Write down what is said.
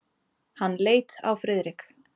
Hann leit á Friðrik.